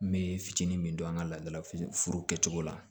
N bɛ fitinin min don an ka laadalafuru kɛcogo la